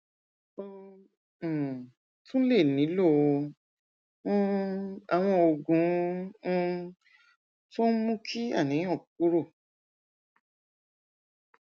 o um tún lè nílò um àwọn oògùn um tó ń mú kí àníyàn kúrò